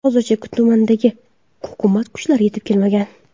Hozircha tumanga hukumat kuchlari yetib kelmagan.